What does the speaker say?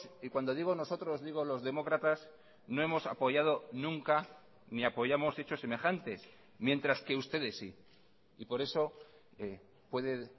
y cuando digo nosotros digo los demócratas no hemos apoyado nunca ni apoyamos hechos semejantes mientras que ustedes sí y por eso puede